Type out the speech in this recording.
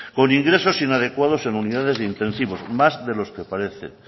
con ingresos inadecuados en unidades de intensivos más de los que parece